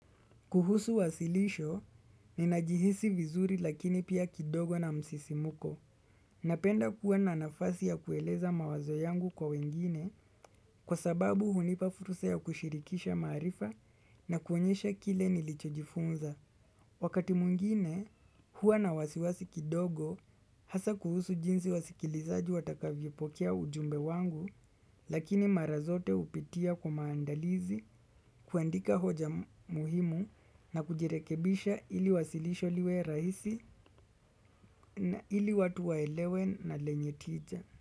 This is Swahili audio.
Kuhusu wasilisho ninajihisi vizuri lakini pia kidogo na msisimuko. Napenda kuwa na nafasi ya kueleza mawazo yangu kwa wengine kwa sababu hunipa furusa ya kushirikisha maarifa na kuonyesha kile nilichojifunza. Wakati mwngine hua na wasiwasi kidogo hasa kuhusu jinsi wasikilizaji watakavyopokea ujumbe wangu lakini mara zote upitia kwa maandalizi kuandika hoja muhimu na kujirekebisha ili wasilisho liwe rahisi na ili watu waelewe na lenye tija.